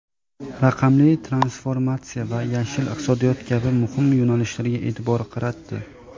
raqamli transformatsiya va "yashil" iqtisodiyot kabi muhim yo‘nalishlarga eʼtibor qaratdi.